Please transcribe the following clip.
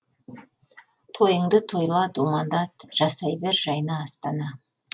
тойыңды тойла думандат жасай бер жайна астана